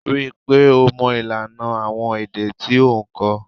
Ri i pe o mo ilana awon ede ti o n ko.